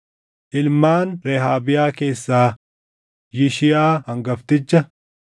Ilmaan Rehaabiyaa keessaa: Yishiyaa hangafticha.